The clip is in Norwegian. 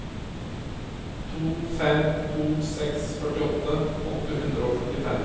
to fem to seks førtiåtte åtte hundre og førtifem